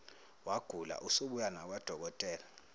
wagula usubuya nakwadokotela